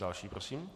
Další prosím.